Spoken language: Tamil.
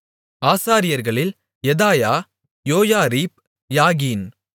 ஆசாரியர்களில் யெதாயா யோயாரீப் யாகின்